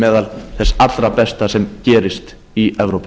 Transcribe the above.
meðal þess allra besta sem gerist i evrópu